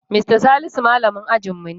Mista Salisu malamin ajinmu ne.